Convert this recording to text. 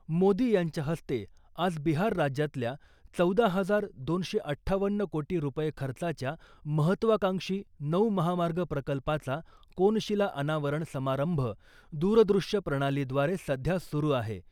मोदी यांच्या हस्ते आज बिहार राज्यातल्या चौदा हजार दोनशे अठ्ठावन्न कोटी रुपये खर्चाच्या महत्त्वाकांक्षी नऊ महामार्ग प्रकल्पाचा कोनशिला अनावरण समारंभ दुरदृश्य प्रणालीद्वारे सध्या सुरु आहे .